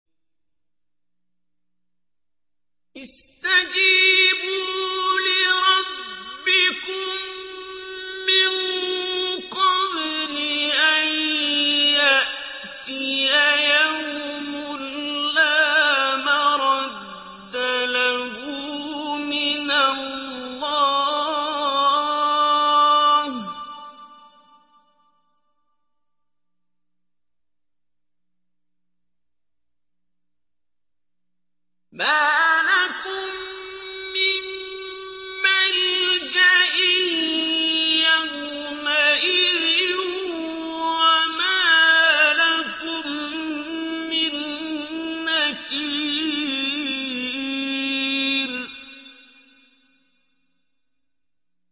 اسْتَجِيبُوا لِرَبِّكُم مِّن قَبْلِ أَن يَأْتِيَ يَوْمٌ لَّا مَرَدَّ لَهُ مِنَ اللَّهِ ۚ مَا لَكُم مِّن مَّلْجَإٍ يَوْمَئِذٍ وَمَا لَكُم مِّن نَّكِيرٍ